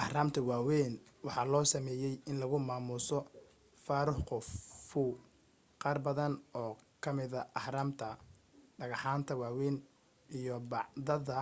ahraamta waawayn waxaa loo sameeyay in lagu maamuso pharaoh khufu qaarbadan oo kamida ahraamta dhagxaanta waweyn iyo bacbadada